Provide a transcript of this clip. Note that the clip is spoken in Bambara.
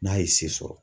N'a ye se sɔrɔ